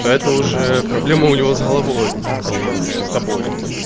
да это уже проблема у него с головой а не с тобой